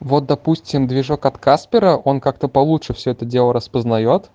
вот допустим движок от каспера он как то получше все это дело распознаёт